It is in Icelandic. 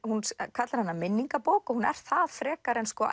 kallar hana minningabók og hún er það frekar en